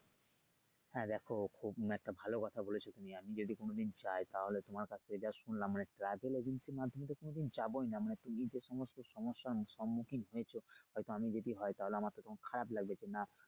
হ্যা দেখো খুব একটা ভালো কথা বলেছো তুমি আমি যদি কোনদিন যাই তাহলে তোমার কাছ থেকে যা শুনলাম মানে travel agency এর মাধ্যমে তো কোনদিন যাবোই না মানে যেহেতু সমস্যা হয়েছো হয়তো আমি যদি হয় তাহলে আমারতো তখন খারাপ লাগবে যে না,